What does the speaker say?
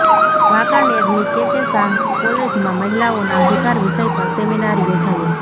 વાંકાનેરની K K Shah કોલેજમાં મહિલાઓના અધિકાર વિષય પર સેમિનાર યોજાયો